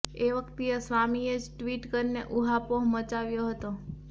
એ વખતે સ્વામીએ જ ટ્વીટ કરીને ઉહાપોહ મચાવ્યો હતો